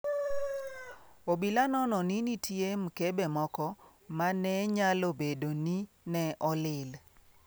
Obila nono ni nitie mkebe moko ma ne nyalo bedo ni ne olil.